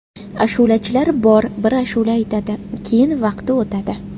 Ashulachilar bor, bir ashula aytadi, keyin vaqti o‘tadi.